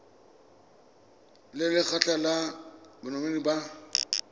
le lekgotlha la banetetshi ba